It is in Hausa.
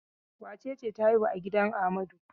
Wace ce ta haihu a gidan Amadu?